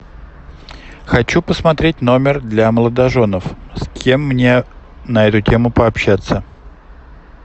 хочу посмотреть номер для молодоженов с кем мне на эту тему пообщаться